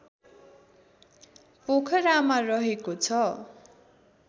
पोखरामा रहेको छ